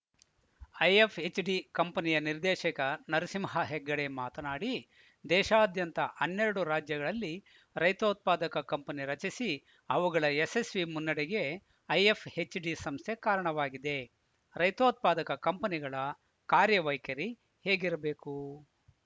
IFHD ಕಂಪನಿಯ ನಿರ್ದೇಶಕ ನರಸಿಂಹ ಹೆಗ್ಗಡೆ ಮಾತನಾಡಿ ದೇಶಾದ್ಯಂತ ಹನ್ನೆರಡು ರಾಜ್ಯಗಳಲ್ಲಿ ರೈತೋತ್ಪಾದಕ ಕಂಪನಿ ರಚಿಸಿ ಅವುಗಳ ಯಶಸ್ವಿ ಮುನ್ನಡೆಗೆ ಐಎಫ್‌ಎಚ್‌ಡಿ ಸಂಸ್ಥೆ ಕಾರಣವಾಗಿದೆ ರೈತೋತ್ಪಾದಕ ಕಂಪನಿಗಳ ಕಾರ್ಯ ವೈಖರಿ ಹೇಗಿರಬೇಕು